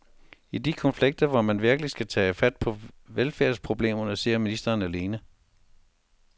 I de konflikter, hvor man virkelig skal tage fat på velfærdsproblemerne, sidder ministeren alene.